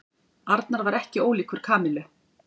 Arnar var ekkert ólíkur Kamillu.